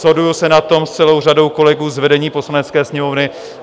Shoduji se na tom s celou řadou kolegů z vedení Poslanecké sněmovny.